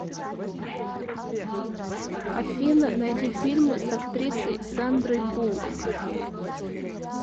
афина найди фильмы с актрисой сандрой буллок